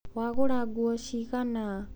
Wagũra nguo ciigana?